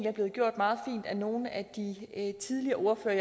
er blevet gjort meget fint af nogle af de tidligere ordførere